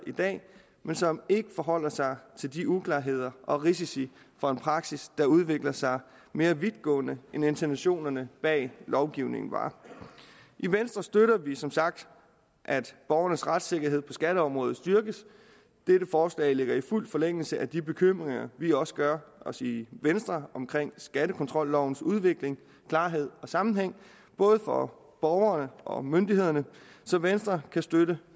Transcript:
i dag men som ikke forholder sig til de uklarheder og risici for en praksis der udvikler sig mere vidtgående end intentionerne bag lovgivningen var i venstre støtter vi som sagt at borgernes retssikkerhed på skatteområdet styrkes dette forslag ligger i fuld forlængelse af de bekymringer vi også gør os i venstre omkring skattekontrollovens udvikling klarhed og sammenhæng både for borgerne og myndighederne så venstre kan støtte